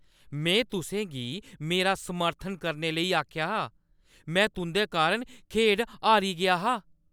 में तुसें गी मेरा समर्थन करने लेई आखेआ हा ! में तुंʼदे कारण खेढ हारी गेआ हा!